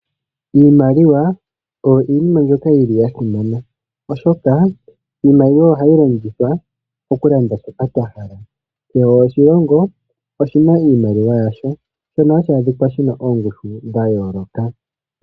Iimaliwa oyo iinima mbyoka yi li ya simana, oshoka iimaliwa oha yi longithwa okulanda shoka twa hala. Kehe oshilongo oshi na iimaliwa yasho. Shono ha shi adhikwa shi na oongushu dha yooloka.